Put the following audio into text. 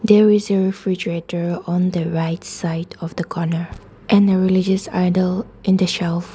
there is a refrigerator on the right side of the corner and the religious idle in the shelf.